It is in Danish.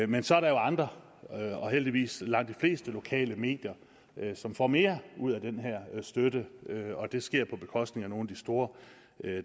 men så er der andre og heldigvis langt de fleste lokale medier som får mere ud af den her støtte og det sker på bekostning af nogle af de store